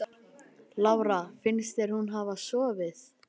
Lára: Finnst þér hún hafa sofið?